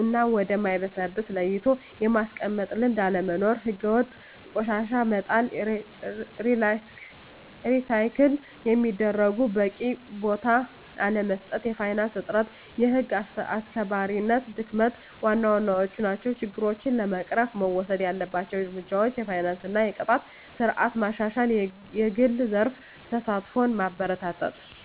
እና ወደ ማይበሰብስ ለይቶ የማስቀመጥ ልምድ አለመኖር። ሕገወጥ ቆሻሻ መጣል፣ ሪሳይክል ለሚደረጉት በቂ ቦታ አለመስጠት፣ የፋይናንስ እጥረት፣ የህግ አስከባሪነት ድክመት ዋና ዋናዎቹ ናቸው። ችግሮችን ለመቅረፍ መወሰድ ያለባቸው እርምጃዎች የፋይናንስ እና የቅጣት ስርዓት ማሻሻል፣ የግል ዘርፍ ተሳትፎን ማበረታታት፣ …